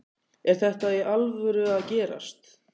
Er þetta í alvöru að gerast?